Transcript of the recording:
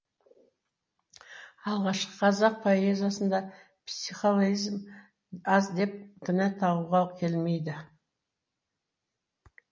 алғашқы қазақ поэзиясында психологизм аз деп кінә тағуға келмейді